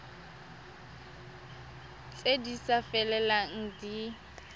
tse di sa felelang di